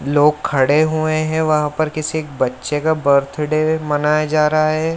लोग खड़े हुए हैं वहाँ पर किसी एक बच्चे का बर्थडे मनाया जा रहा है।